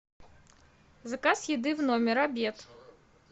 заказ еды в номер обед